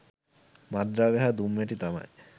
මත්ද්‍රව්‍ය හා දුම්වැටි තමයි.